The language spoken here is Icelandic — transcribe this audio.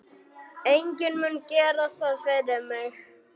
Enginn mun gera það fyrir mig.